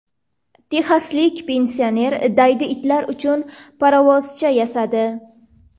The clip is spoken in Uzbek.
Texaslik pensioner daydi itlar uchun parovozcha yasadi.